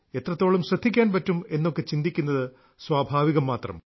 എത്രത്തോളം ശ്രദ്ധിക്കാൻ പറ്റും എന്നൊക്കെ ചിന്തിക്കുന്നത് സ്വാഭാവികം മാത്രം